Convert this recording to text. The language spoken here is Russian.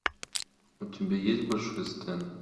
у тебя есть большой стэн